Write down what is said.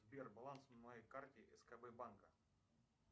сбер баланс на моей карте скб банка